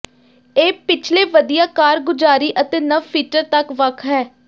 ਇਹ ਪਿਛਲੇ ਵਧੀਆ ਕਾਰਗੁਜ਼ਾਰੀ ਅਤੇ ਨਵ ਫੀਚਰ ਤੱਕ ਵੱਖ ਹੈ